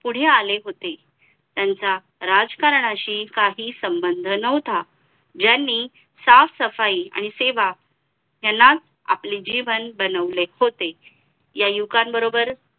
पुढे आले होते त्यांचा राजकारणाशी काही संबंध नव्हता यांनी साफसफाई आणि सेवा ह्यालाच आपले जीवन बनवले होते या युवकांन बरोबर